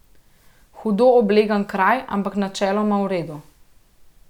Hudo oblegan kraj, ampak načeloma v redu.